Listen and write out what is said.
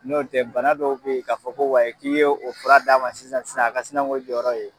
Nɔntɛ bana dɔw be ye k'a fɔ ko wayi k'i ye o fura d'a ma sisan sisan a ka sina k'o jɔyɔrɔ ye